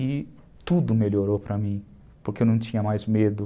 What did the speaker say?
E tudo melhorou para mim, porque eu não tinha mais medo.